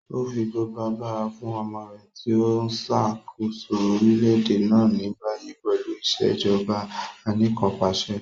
O fi gbogbo agbara fun ọmọ rẹ ti o nṣakoso orilẹ-ede na ni bayi pẹlu Ìṣèjọba Anìkanpàṣẹ.